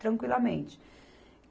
Tranquilamente.